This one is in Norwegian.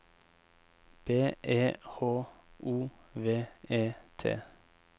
B E H O V E T